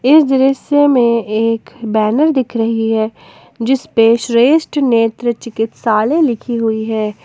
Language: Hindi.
इस दृश्य में एक बैनर दिख रही है जिस पे श्रेष्ठ नेत्र चिकित्सालय लिखी हुई है।